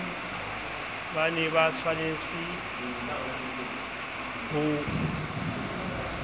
ba ne ba tlwahetse ho